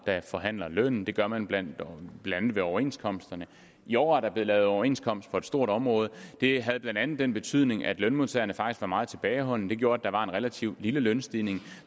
der forhandler lønnen og det gør man blandt andet ved overenskomsterne i år er der blevet lavet en overenskomst på et stort område det havde blandt andet den betydning at lønmodtagerne faktisk var meget tilbageholdende og det gjorde at der var en relativt lille lønstigning